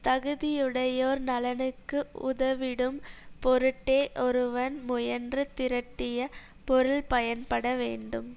தகுதியுடையோர் நலனுக்கு உதவிடும் பொருட்டே ஒருவன் முயன்று திரட்டிய பொருள் பயன்பட வேண்டும்